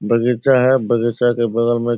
बगीचा है बगीचे के बगल में --